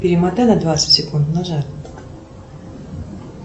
перемотай на двадцать секунд назад